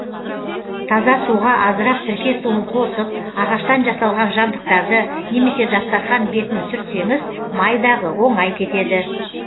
таза суға азырақ сірке суын қосып ағаштан жасалған жабдықтарды немесе дастархан бетін сүртсеңіз май дағы оңай кетеді